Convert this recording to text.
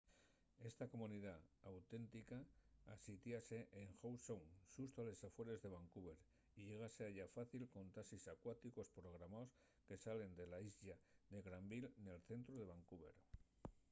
esta comunidá auténtica asítiase en howe sound xusto a les afueres de vancouver y llégase a ella fácil con taxis acuáticos programaos que salen de la islla de granville nel centru de vancouver